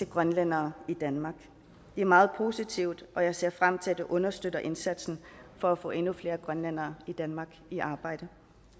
grønlændere i danmark det er meget positivt og jeg ser frem til at det understøtter indsatsen for at få endnu flere grønlændere i danmark i arbejde